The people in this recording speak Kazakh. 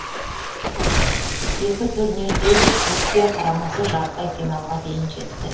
екі турнирде де түркия құрамасы жартылай финалға дейін жетті